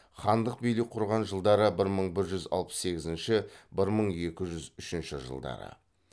хандық билік құрған жылдары бір мың бір жүз алпыс сегізінші бір мың екі жүз үшінші жылдары